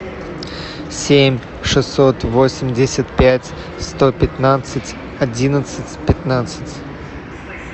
семь шестьсот восемьдесят пять сто пятнадцать одиннадцать пятнадцать